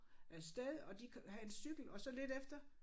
Af sted og de havde en cykel og så lidt efter